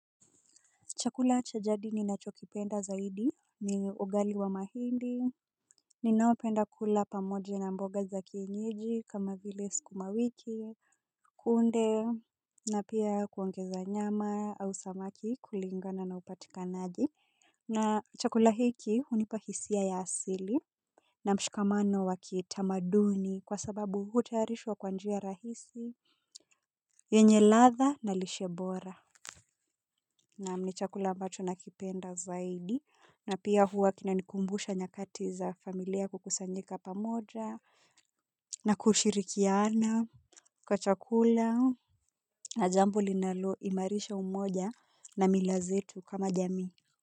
Chakula cha jadi ni nacho kipenda zaidi ni ugali wa mahindi. Ninaopenda kula pamoja na mboga za kienyeji kama vile sukumawiki kunde na pia kuongeza nyama au samaki kulingana na upatikanaji. Na chakula hiki hunipa hisia ya asili. Na mshikamano wa kitamaduni kwa sababu hutayarishwa kwa njia rahisi yenye ladha na lishebora. Naam ni chakula ambacho nakipenda zaidi. Na pia huwa kinanikumbusha nyakati za familia kukusanyika pamoja na kushirikiana kwa chakula na jambo linalo imarisha umoja na mila zetu kama jamii.